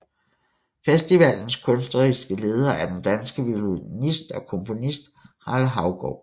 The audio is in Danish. Festivalens kunstneriske leder er den danske violinist og komponist Harald Haugaard